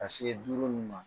Ka se duuru ninnu ma